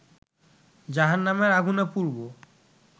জাহান্নামের আগুনে পুড়বো